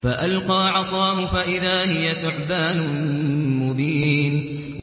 فَأَلْقَىٰ عَصَاهُ فَإِذَا هِيَ ثُعْبَانٌ مُّبِينٌ